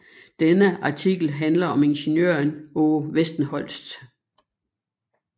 Denne artikel handler om ingeniøren Aage Westenholz